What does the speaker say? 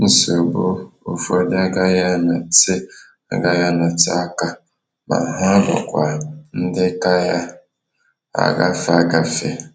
Nsogbu ụfọdụ agaghị anọte agaghị anọte aka ma ha bụkwa ndị kaya agafe agafe.